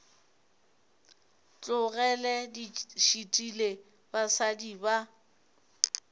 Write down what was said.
tlogele di šitile basadi ba